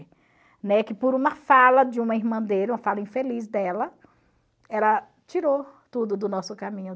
Né? Que por uma fala de uma irmã dele, uma fala infeliz dela, ela tirou tudo do nosso caminho.